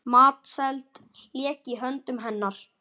Matseld lék í höndum hennar.